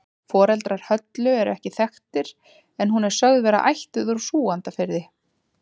Foreldrar Höllu eru ekki þekktir en hún er sögð vera ættuð úr Súgandafirði.